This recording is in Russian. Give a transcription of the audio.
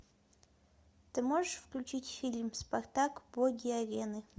ты можешь включить фильм спартак боги арены